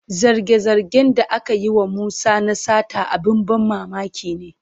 Zarge-zargen da ake yi wa Musa na sata abin ban mamaki ne.